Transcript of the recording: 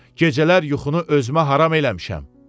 Gecələr yuxunu özümə haram eləmişəm.